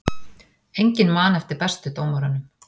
Enginn man eftir bestu dómurunum